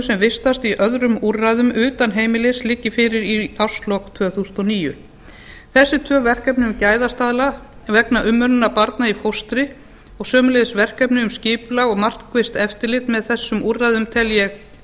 sem vistast í öðrum úrræðum utan heimilis liggi fyrir í árslok tvö þúsund og níu þessi tvö verkefni um gæðastaðla vegna umönnunar barna í fóstri og sömuleiðis verkefni um skipulegt og markvisst eftirlit með þessum úrræðum tel ég